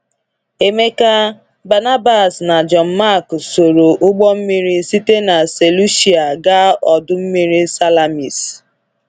Emeka, Barnabas, na John Mark soro ụgbọ mmiri site na Seleucia gaa ọdụ mmiri Salamis.